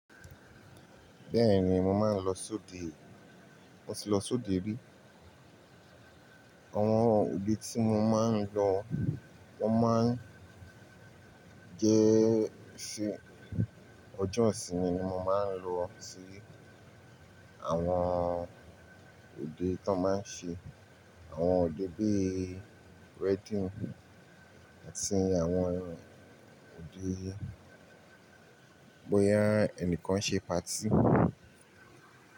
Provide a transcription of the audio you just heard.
Bẹ́ẹ̀ni, mo máa ń lọ sóde, mo ti lọ sóde rí. Àwọn òde tí mo máa ń lọ wọ́n máa ń jẹ́ ṣé ọjọ́ ìsinmi ni mo máa ń lọ sí àwọn òde tó máa ń ṣe. Àwọn òde bí wedding àti àwọn òde bóyá ẹnìkan ṣe party.